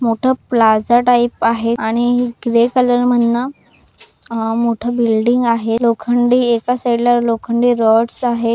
मोठा plaza type आहे आणि ग्रे कलर मनन अह मोठ बिल्डींग आहे. लोखंडी एका साईड ला लोखंडी रॉंडस आहे.